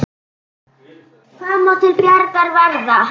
Hvað má til bjargar verða?